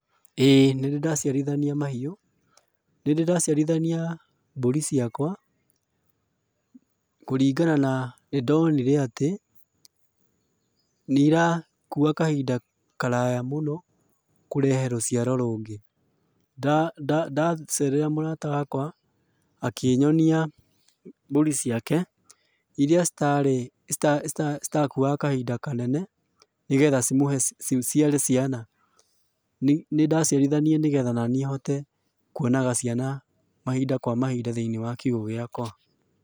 Ĩĩ nĩndĩ ndaciarithania mahiũ. Nĩndĩ ndaciarithania, mbũri ciakwa, kũringana na, nĩndonire atĩ, nĩ irakua kahinda karaya mũno, kũrehe rũciaro rũngĩ. Ndacerera mũrata wakwa, akĩnyonia, mbũri ciake, iria citarĩ, citakuaga kahinda kanene, nĩgetha cimũhe ciciare ciana. Nĩndaciarithanirie nĩgetha ona niĩ hote, kuonaga ciana mahinda kwa mahinda thĩiniĩ wa kiugũ gĩakwa.